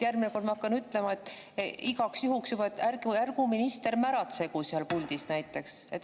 Järgmine kord ma hakkan ütlema juba igaks juhuks näiteks, et ärgu minister märatsegu seal puldis.